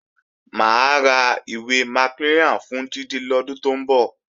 Mà á ra ìwé Macmillian fún Jídé lọ́dún tó ń bọ̀